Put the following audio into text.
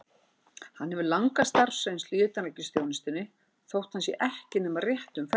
Hann hefur langa starfsreynslu í utanríkisþjónustunni, þótt hann sé ekki nema rétt um fertugt.